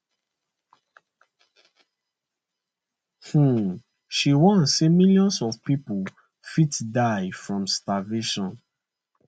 um she warn say millions of pipo fit die from starvation